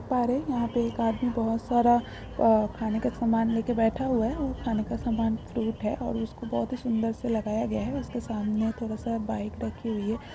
पारे यहा पे एक आदमी बोहोत सारा अ खाने का सामान लेके बैठा हुआ है खाने का सामान फ्रूट है और उसको बोहोत ही सुन्दर से लगाया गया है सामने थोड़ासा बाइक रखी हुई है।